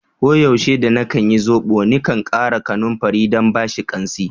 Ko yaushe da na kan yin zobo, ni kan kara kanumfari dan bashi kansi.